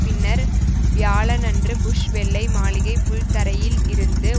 பின்னர் வியாழனன்று புஷ் வெள்ளை மாளிகை புல் தரையில் இருந்து